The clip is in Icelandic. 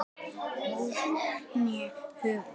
óð þau né höfðu